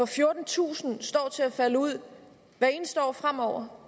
fjortentusind står til at falde ud hvert eneste år fremover